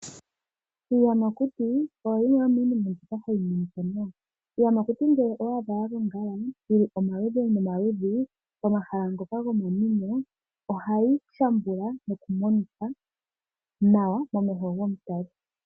Iiyamakuti oyo yimwe yomiinima mbyoka hayi monika nawa. Iiyamakuti ngele owa adha ya gongala yi li omaludhi nomaludhi pomahala ngoka gomanwino, ohayi shambula nokumonika nawa momeho gomutali.